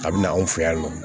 A bɛ na anw fɛ yan nɔ